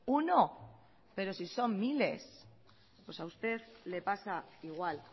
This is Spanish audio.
uno pero si son miles pues a usted le pasa igual